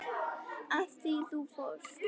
Af því þú fórst.